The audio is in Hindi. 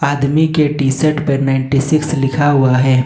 आदमी के टी शर्ट पर नाइंटी सिक्स लिखा हुआ है।